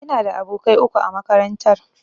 Ina da abokai uku a makarantar.